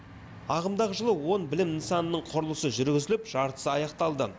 ағымдағы жылы он білім нысанының құрылысы жүргізіліп жартысы аяқталды